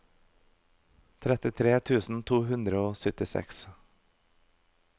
trettitre tusen to hundre og syttiseks